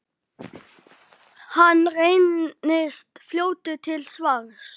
Hann reynist fljótur til svars.